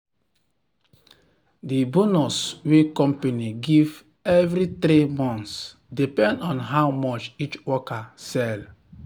the bonus wey company give every 3 months depend on how much each worker sell.